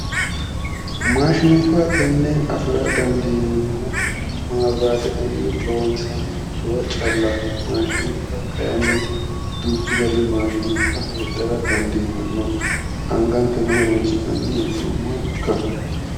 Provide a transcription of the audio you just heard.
Maashinubba tenne afira dandineemmohu maawiraatetenni loonsannirichiwa callaati maashinubba kayiinni duuchu gari maashinubba heedhara dandiitanno angankeno horoonsi'nanni hee'noommoha ikkannno